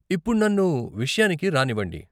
ఇప్పుడు నన్ను విషయానికి రానివ్వండి.